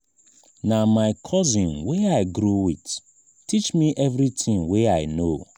na my cousin wey i grow wit teach me everytin wey i know.